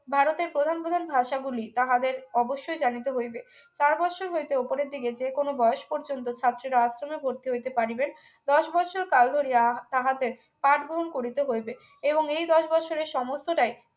ভারতের প্রধান প্রধান ভাষা গুলি তাহাদের অবশ্যই জানিতে হইবে চার বৎসর হইতে উপরের দিকে যে কোন বয়স পর্যন্ত ছাত্ররা আশ্রমে ভর্তি হইতে পারি রে দশ বৎসর কাল ধরিয়া তাহাদের পাঠ ভ্রমণ করিতে হইবে এবং এই দশ বছরের সমস্তটাই